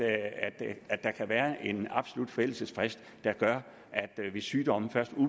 være en absolut forældelsesfrist hvis sygdommen først